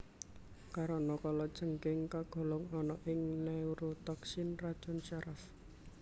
Karana kalajengking kagolong ana ing neurotoksin racun saraf